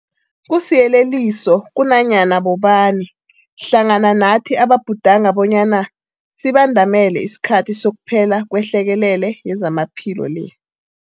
Kusiyeleliso kunanyana bobani hlangana nathi ababhudanga bonyana sibandamele isikhathi sokuphela kwehlekelele yezamaphilo le.